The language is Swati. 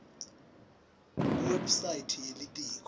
kuwebsite ye litiko